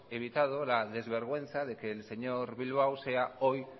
evitado la desvergüenza de que el señor bilbao sea hoy